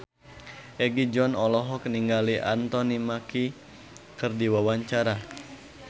Egi John olohok ningali Anthony Mackie keur diwawancara